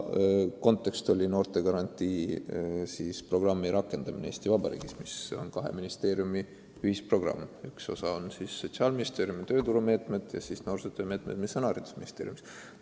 Kontekst oli noortegarantii programmi rakendamine, mis on kahe ministeeriumi ühisprogramm: ühe osa moodustavad Sotsiaalministeeriumi tööturumeetmed ja teise osa noorsootöö meetmed, mis on haridusministeeriumi valdkond.